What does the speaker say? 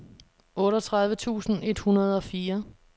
otteogtredive tusind et hundrede og fire